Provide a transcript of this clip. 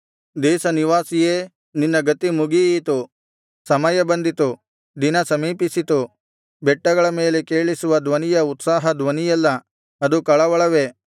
ದೇಶ ನಿವಾಸಿಯೇ ನಿನ್ನ ಗತಿ ಮುಗಿಯಿತು ಸಮಯ ಬಂದಿತು ದಿನ ಸಮೀಪಿಸಿತು ಬೆಟ್ಟಗಳ ಮೇಲೆ ಕೇಳಿಸುವ ಧ್ವನಿಯು ಉತ್ಸಾಹ ಧ್ವನಿಯಲ್ಲ ಅದು ಕಳವಳವೇ